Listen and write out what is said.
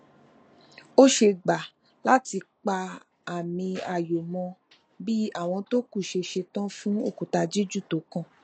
ó ṣe gbà láti pa àmì ayò mọ bí àwọn tó kù ṣe ṣetán fún òkúta jíjù tó kàn